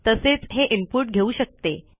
तसेच हे इनपुट घेऊ शकते